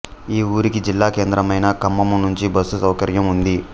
ఈ ఊరికి జిల్లా కేంద్రమైన ఖమ్మము నుంచి బస్సు సౌకర్యం ఉంది